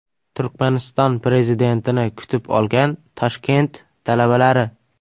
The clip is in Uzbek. Turkmaniston prezidentini kutib olgan Toshkent talabalari.